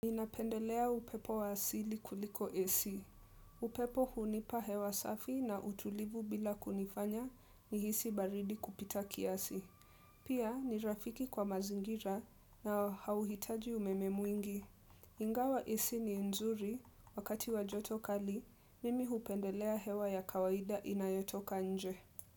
Ni napendelea upepo wa asili kuliko AC. Upepo hunipa hewa safi na utulivu bila kunifanya nihisi baridi kupita kiasi. Pia, ni rafiki kwa mazingira na hauhitaji umeme mwingi. Ingawa AC ni nzuri, wakati wa joto kali, mimi hupendelea hewa ya kawaida inayotoka nje.